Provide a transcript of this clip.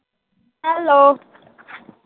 Hello